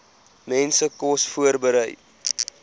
mense kos voorberei